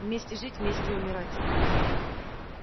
вместе жить вместе и умирать